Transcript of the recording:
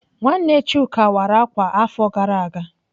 Nwanne Chuka wara ákwà afọ gara aga.